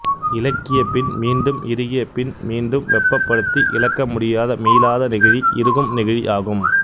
இளக்கிப் பின் மீண்டும் இறுகிய பின் மீண்டும் வெப்பப்படுத்தி இளக்க முடியாத மீளாத நெகிழி இறுகும் நெகிழி ஆகும்